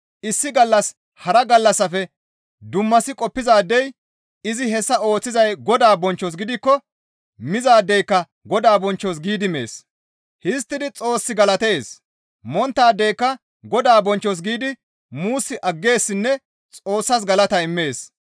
Issi gallas hara gallassafe dummasi qoppizaadey izi hessa ooththizay Godaa bonchchos gidikko mizaadeyka Godaa bonchchos giidi mees. Histtidi Xoos galatees. Monttaadeyka Godaa bonchchos giidi muus aggeessinne Xoossas galata immees.